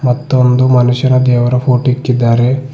ಮತ್ತು ಒಂದು ಮನುಷ್ಯರ ದೇವರ ಫೋಟೋ ಇಕ್ಕಿದ್ದಾರೆ.